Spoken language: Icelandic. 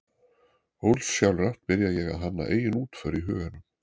Ósjálfrátt byrja ég að hanna eigin útför í huganum